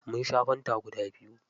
Mun sha fanta guda biyu.